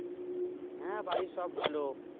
হ্যাঁ বাড়ির সব ভালো